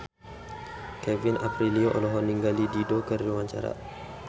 Kevin Aprilio olohok ningali Dido keur diwawancara